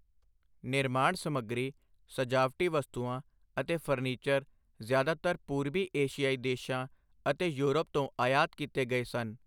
ਨਿਰਮਾਣ ਸਮੱਗਰੀ, ਸਜਾਵਟੀ ਵਸਤਾਂ ਅਤੇ ਫਰਨੀਚਰ ਜ਼ਿਆਦਾਤਰ ਪੂਰਬੀ ਏਸ਼ੀਆਈ ਦੇਸ਼ਾਂ ਅਤੇ ਯੂਰਪ ਤੋਂ ਆਯਾਤ ਕੀਤੇ ਗਏ ਸਨ।